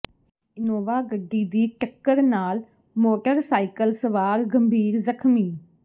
Innova ਗੱਡੀ ਦੀ ਟੱਕਰ ਨਾਲ ਮੋਟਰਸਾਈਕਲ ਸਵਾਰ ਗੰਭੀਰ ਜ਼ਖ਼ਮੀ